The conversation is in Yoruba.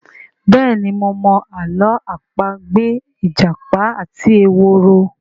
béèni mo mọ Àló̩ àpagbè ìjàpá àti ehoro.